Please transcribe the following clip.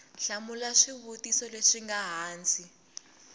hlamula swivutiso leswi nga hansi